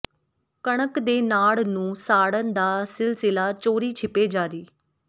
ਕਣਕ ਦੇ ਨਾੜ ਨੂੰ ਸਾੜਨ ਦਾ ਸਿਲਸਿਲਾ ਚੋਰੀ ਛਿਪੇ ਜਾਰੀ